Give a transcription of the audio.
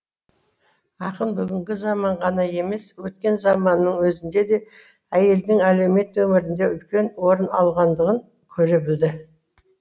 ақын бүгінгі заман ғана емес өткен заманның өзінде де әйелдің әлеумет өмірінде үлкен орын алғандығын көре білді